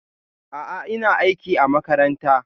A'a, ina aiki a makaranta.